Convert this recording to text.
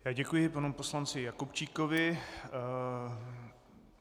Já děkuji panu poslanci Jakubčíkovi.